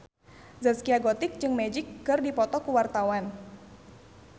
Zaskia Gotik jeung Magic keur dipoto ku wartawan